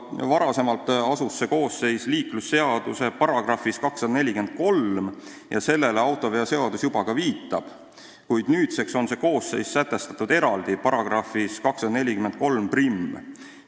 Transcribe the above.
Varasemalt oli see koosseis liiklusseaduse §-s 243 ja sellele autoveoseadus juba ka viitab, kuid nüüdseks on see koosseis sätestatud eraldi, §-s 2431.